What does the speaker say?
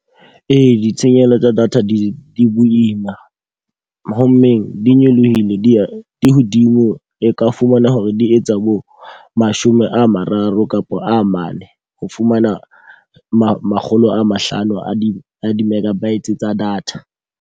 Ee, ditshenyehelo tsa data di boima. Ho mmeng di nyolohile di di hodimo, e ka fumana hore di etsa bo mashome a mararo kapa a mane ho fumana makgolo a mahlano a di a di-megabytes tsa data.